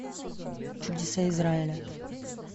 чудеса израиля